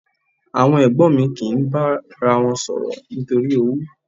Àwọn ẹ̀gbọ́n mi kì í bára wọn sọ̀rọ̀ nítorí owú.